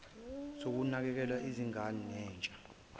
sokunakekela izingane nentsha